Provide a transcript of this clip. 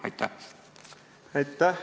Aitäh!